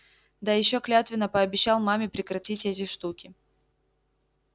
да ещё клятвенно пообещал маме прекратить эти штуки